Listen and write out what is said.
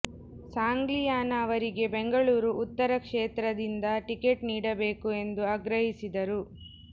ಸಾಂಗ್ಲಿಯಾನ ಅವರಿಗೆ ಬೆಂಗಳೂರು ಉತ್ತರ ಕ್ಷೇತ್ರದಿಂದ ಟಿಕೆಟ್ ನೀಡಬೇಕು ಎಂದು ಆಗ್ರಹಿಸಿದರು